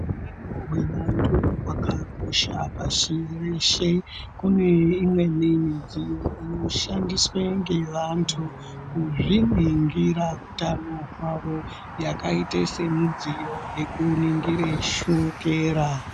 Utano hwevantu hwakakosha pashi reshe. Kune imweni midziyo inoshandiswe ngevantu kuzviningira utano hwavo yakaite semudziyo yekuningire shokera.